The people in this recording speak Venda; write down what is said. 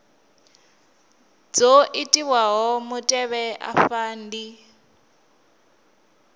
dzo itiwaho mutevhe afha ndi